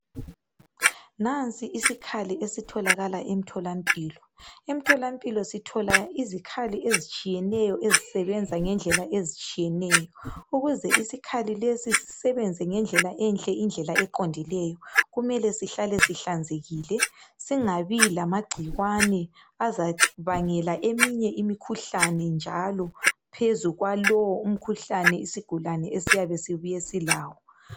Nansi isikhali esitholakala emtholampilo , emtholampilo sithola izikhali ezitshiyeneyo ezisebenza ngendlela ezitshiyeneyo ukuze isikhali lesi sisebenza ngendlela enhle indlela eqondileyo kumele sihlale sihlanzekile singabi lamagcikwane azabangela omunye umkhuhlane phezu kwalowo isigulane esiyabe sibuye silawo